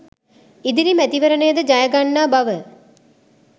ඉදිරි මැතිවරණයද ජය ගන්නා බව